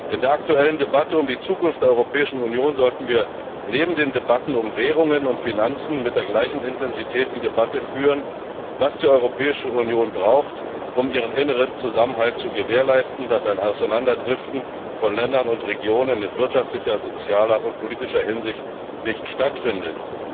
In der aktuellen Debatte um die Zukunft der Europäischen Union sollten wir neben den Debatten um Währungen und Finanzen mit der gleichen Intensität die Debatte darüber führen, was die Europäische Union braucht, um ihren inneren Zusammenhalt zu gewährleisten, damit ein Auseinanderdriften von Ländern und Regionen in wirtschaftlicher, sozialer und politischer Hinsicht nicht stattfindet.